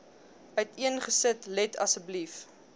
uiteengesit let asseblief